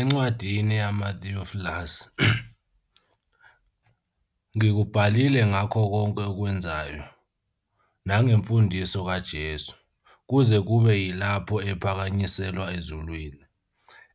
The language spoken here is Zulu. Encwadini yami, Theophilus, ngikubhalile ngakho konke akwenzayo, nangemfundiso kaJesu, kuze kube yilapho ephakanyiselwa ezulwini,